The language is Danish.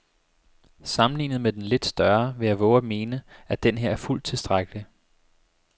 Sammenlignet med den lidt større vil jeg vove at mene, at denneher er fuldt tilstrækkelig.